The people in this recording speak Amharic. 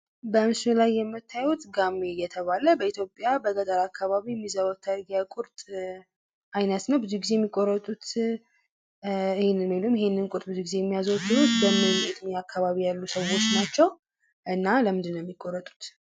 በምስሉ ላይ የምታዩት ጋሜ እየተባለ የሚጠራው በኢትዮጵያ በገጠር አካባቢ የሚዘወተር የቁርጥ አይነት ነው። ብዙ ጊዜ የሚቆረጡት ይህንኑ ነው። ይህንንም ብዙ ጊዜ የሚያዘወትሩት በገጠር አካባቢ ያሉ ሰዎች ናቸው። እና ለምንድን ነው የሚቆረጡት?